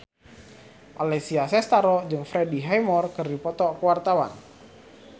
Alessia Cestaro jeung Freddie Highmore keur dipoto ku wartawan